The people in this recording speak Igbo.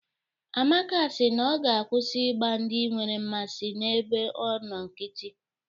Amaka si na ọ ga-akwụsị igba ndị nwere mmasị n'ebe ọ nọ nkítí